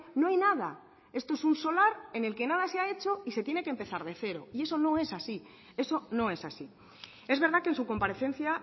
no hay nada esto es un solar en el que nada se ha hecho y se tiene que empezar de cero y eso no es así eso no es así es verdad que en su comparecencia